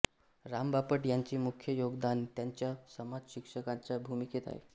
राम बापट यांचे मुख्य योगदान त्यांच्या समाजशिक्षकाच्या भूमिकेत आहे